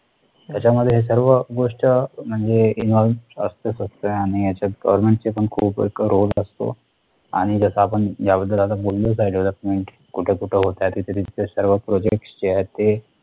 त्याच्यामध्ये सर्व गोष्ट म्हणजे involve असतोच असतो आणि याच्यात government ची पण खूप असतो. आणि जसं आपण याअगोदर आता बोललोच आहे कुठे कुठे होत्या तिथेच ते सर्व project चे आहे